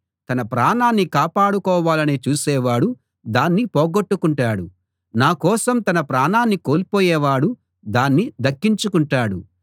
తన ప్రాణాన్ని కాపాడుకోవాలని చూసేవాడు దాన్ని పోగొట్టుకుంటాడు నా కోసం తన ప్రాణాన్ని కోల్పోయేవాడు దాన్ని దక్కించుకుంటాడు